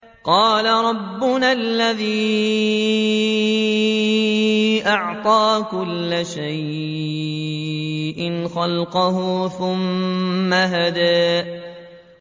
قَالَ رَبُّنَا الَّذِي أَعْطَىٰ كُلَّ شَيْءٍ خَلْقَهُ ثُمَّ هَدَىٰ